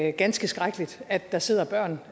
er ganske skrækkeligt at der sidder børn